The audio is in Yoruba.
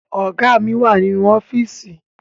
Ọ̀gá mi wà nínú ọ́fíìsì